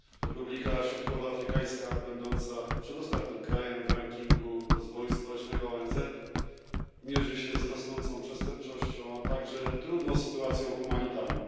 Republika Środkowoafrykańska, będąca przedostatnim krajem w rankingu rozwoju społecznego ONZ, mierzy się z rosnącą przestępczością, a także trudną sytuacją humanitarną.